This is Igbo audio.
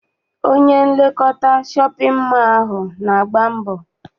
Onye nlekọta shọpịn mọọ ahụ na-agba mbọ.